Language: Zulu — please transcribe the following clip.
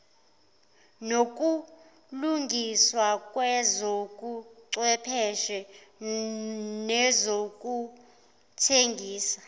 nokulungiswa kwezobuchwepheshe nezokuthengisa